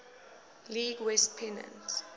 league west pennant